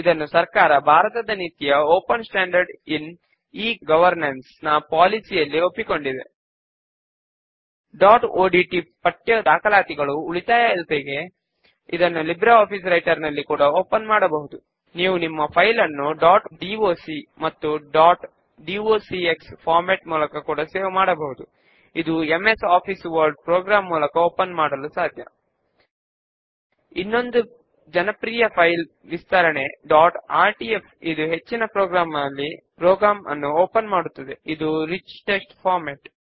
దాని కొరకు టేబుల్స్ లేదా క్వెర్రీస్ డ్రాప్ డౌన్ నుంచి Query బుక్స్ నోట్ రిటర్న్డ్ ఎంచుకుని అందుబాటులో ఉన్న లిస్ట్ నుంచి ఎంపిక చేసిన ఫీల్డ్స్ ను మనము స్క్రీన్ మీద చూపిన విధముగా కుడి వైపుకు మూవ్ చేద్దాము